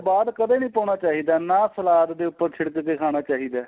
ਬਾਅਦ ਕਦੇਂ ਵੀ ਨਹੀਂ ਪਾਉਣਾ ਚਾਹੀਦਾ ਨਾਂ ਸਲਾਦ ਦੇ ਉੱਪਰ ਛਿੜਕ ਕੇ ਖਾਣਾ ਚਾਹੀਦਾ